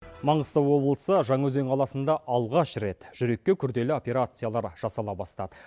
маңғыстау облысы жаңаөзен қаласында алғаш рет жүрекке күрделі операциялар жасала бастады